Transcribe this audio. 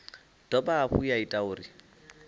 dovha hafhu ya ita uri